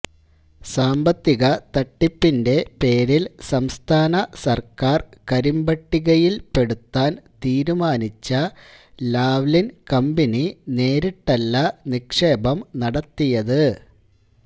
സാമ്പത്തിക തട്ടിപ്പിന്റെ പേരില് സംസ്ഥാന സര്ക്കാര് കരിമ്പട്ടികയില്പ്പെടുത്താന് തീരുമാനിച്ച ലാവ്ലിന് കമ്പനി നേരിട്ടല്ല നിക്ഷേപം നടത്തിയത്